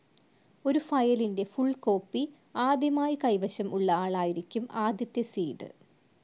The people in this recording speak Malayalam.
ഒരു ഫയലിൻ്റെ ഫുൾ കോപ്പി ആദ്യമായി കൈവശം ഉള്ള ആളായിരിക്കും ആദ്യത്തെ സീഡ്.